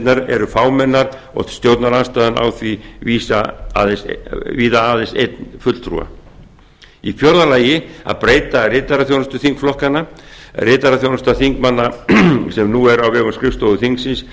alþjóðanefndirnar eru fámennar og stjórnarandstaðan á því víða aðeins einn fulltrúa fjórði að breyta ritaraþjónustu þingflokkanna ritaraþjónusta þingmanna sem nú er á vegum skrifstofu þingsins